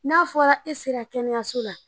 N'a fɔra e sera kɛnɛyaso la